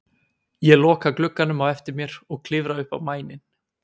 Ég loka glugganum á eftir mér og klifra upp á mæninn.